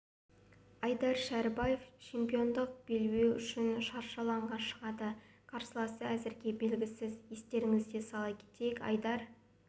айдар шәрібаев чемпиондық белбеу үшін шаршы алаңға шығады қарсыласы әзірге белгісіз естеріңізге сала кетейік айдар